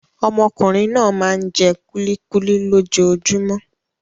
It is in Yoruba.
Ọmọkùnrin náà máa ń jẹ kúlíkúlí lójoojúmọ́.